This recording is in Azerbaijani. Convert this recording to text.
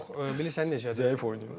Yox, bilirsən necədir? Zəif oynayın.